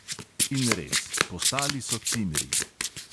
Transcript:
In res, postali so cimri.